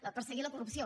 perseguir la corrupció